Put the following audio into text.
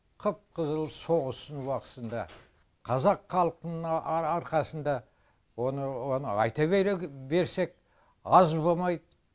қып қызыл соғыстың уақытысында қазақ халқына арқасында оны оны айта берсек аз болмайд